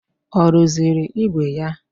Ọ rụziri ígwè ya?